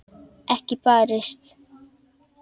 Ekki barist.